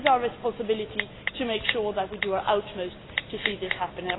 life. It is our responsibility to make sure that we do our utmost to see this happen.